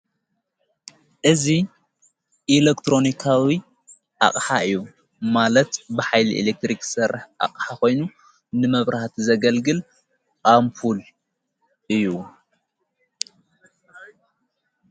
እዙ ኢለክትሮንካዊ ኣቕሓ እዩ ።ማለት ብሂሊ ኤሌክትሪኽ ሠርህ ኣቕሕ ኾይኑ ፤ንመብራህቲ ዘገልግል ኣምፑል እዩ።